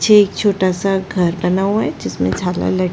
पीछे एक छोटा सा घर बना हुआ है जिसमे झालर लटका--